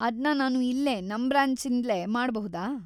ಅದ್ನ ನಾನು ಇಲ್ಲೇ, ನಮ್ ಬ್ರಾಂಚಿದ್ಲೇ ಮಾಡ್ಬಹುದಾ?